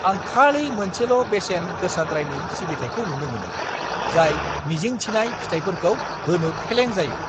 आं खालि मोनसेल' बेसेन गोसाद्रायनि सिबिथाइखौ नुनो मोनो, जाय मिजिं थिनाय फिथाइफोरखौ होनो फेलें जायो।